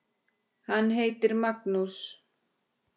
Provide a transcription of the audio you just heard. Hann heitir Magnús.